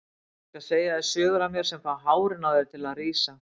Ég skal segja þér sögur af mér sem fá hárin á þér til að rísa.